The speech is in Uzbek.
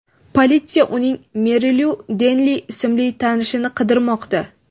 Politsiya uning Merilu Denli ismli tanishini qidirmoqda.